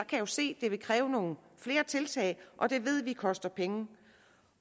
kan jo se at det kræver nogle flere tiltag og det ved vi koster penge